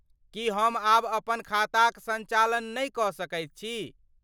की हम आब अपन खाताक संचालन नहि कऽ सकैत छी?